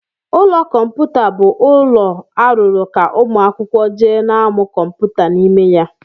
Ụlọ kọmputa bụ ụlọ arụrụ ka ụmụ akwụkwọ jee n'amụ kọmputa n'ime ya.